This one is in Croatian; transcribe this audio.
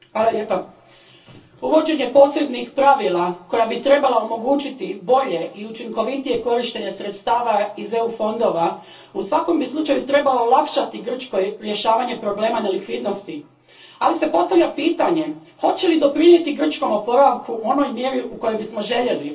Gospođo predsjednice, uvođenje posebnih pravila koja bi trebala omogućiti bolje i učinkovitije korištenje sredstava iz EU fondova u svakom bi slučaju trebalo olakšati Grčkoj rješavanje problema nelikvidnosti, ali se postavlja pitanje hoće li doprinijeti grčkom oporavku u onoj mjeri u kojoj bismo željeli.